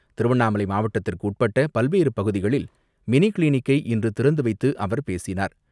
திருவண்ணாமலை மாவட்டத்திற்கு உட்பட்ட பல்வேறு பகுதிகளில் மினி கிளினிக்கை இன்று திறந்து வைத்து அவர் பேசினார்.